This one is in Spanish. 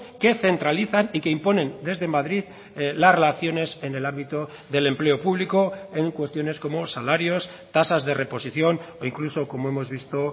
que centralizan y que imponen desde madrid las relaciones en el ámbito del empleo público en cuestiones como salarios tasas de reposición o incluso como hemos visto